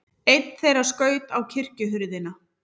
Einn þeirra skaut á kirkjuhurðina.